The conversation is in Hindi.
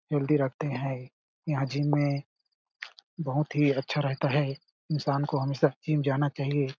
हैल्दी रखते है यहाँ जिम में बहोत ही अच्छा रहता है इंसान को हमेशा जिम जाना चाहिए --